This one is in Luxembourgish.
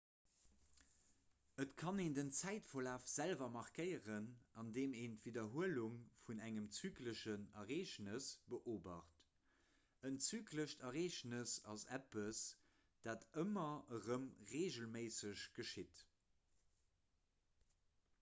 et kann een den zäitverlaf selwer markéieren andeem een d'widderhuelung vun engem zykleschen ereegnes beobacht en zyklescht ereegnes ass eppes dat ëmmer erëm reegelméisseg geschitt